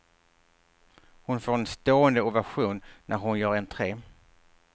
Hon får en stående ovation, när hon gör entre.